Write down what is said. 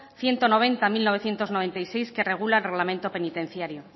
ciento noventa barra mil novecientos noventa y seis que regula el reglamento penitenciario